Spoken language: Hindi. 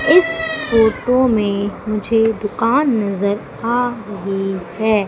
इस फोटो में मुझे दुकान नजर आ रही है।